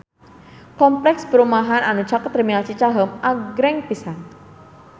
Kompleks perumahan anu caket Terminal Cicaheum agreng pisan